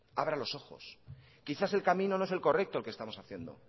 abra los ojos quizás el camino no es el correcto el que estamos haciendo